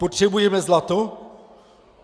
Potřebujeme zlato?